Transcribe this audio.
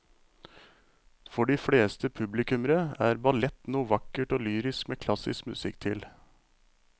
For de fleste publikummere er ballett noe vakkert og lyrisk med klassisk musikk til.